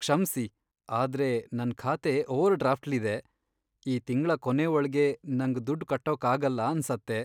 ಕ್ಷಮ್ಸಿ, ಆದ್ರೆ ನನ್ ಖಾತೆ ಓವರ್ ಡ್ರಾಫ್ಟ್ಲ್ಲಿದೆ, ಈ ತಿಂಗ್ಳ ಕೊನೇ ಒಳ್ಗೆ ನಂಗ್ ದುಡ್ಡ್ ಕಟ್ಟೋಕಾಗಲ್ಲ ಅನ್ಸತ್ತೆ.